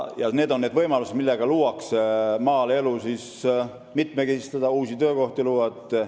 See annab võimaluse maaelu mitmekesistada ja uusi töökohti luua.